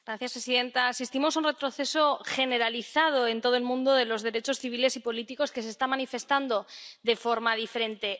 Señora presidenta, asistimos a un retroceso generalizado en todo el mundo de los derechos civiles y políticos, que se está manifestando de forma diferente.